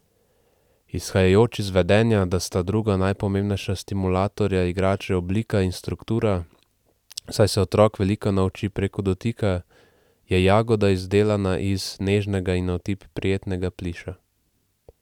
Izhajajoč iz vedenja, da sta druga najpomembnejša stimulatorja igrače oblika in struktura, saj se otrok veliko nauči preko dotika, je Jagoda izdelana iz nežnega in na otip prijetnega pliša.